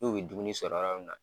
N'u bi dumuni sɔrɔ min na.